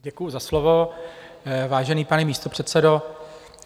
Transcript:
Děkuji za slovo, vážený pane místopředsedo.